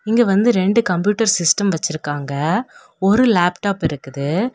இங்க வந்து ரெண்டு கம்ப்யூட்டர் சிஸ்டம் வச்சிருக்காங்க. ஒரு லேப்டாப் இருக்குது.